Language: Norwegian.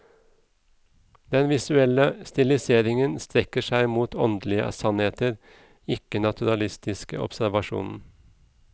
Den visuelle stiliseringen strekker seg mot åndelige sannheter, ikke naturalistisk observasjon.